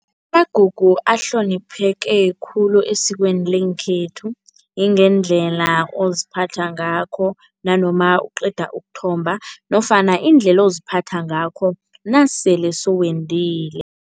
Amagugu ahlonipheke khulu esikweni lengekhethu, ingendlela oziphatha ngakho nanoma uqeda ukuthomba nofana indlela oziphatha ngakho nasele sowendile.